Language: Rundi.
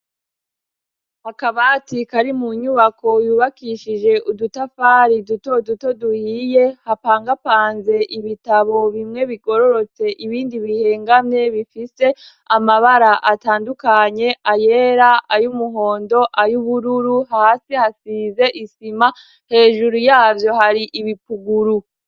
akabati kari mu nyubako yubakishije udutafari duto duto duhiye hapangapanze ibitabo bimwe bigororotse ibindi bihengamwe bifite amabara atandukanye ayera ay'umuhondo ay'ubururu hasi hasize isima hejuru yaryo hari ibipukuru